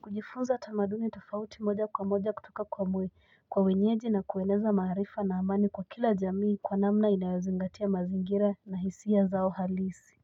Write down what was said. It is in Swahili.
kujifunza tamaduni tofauti moja kwa moja kutoka kwa mwe kwa wenyeji na kueneza maarifa na amani kwa kila jamii kwa namna inayozingatia mazingira na hisia zao halisi.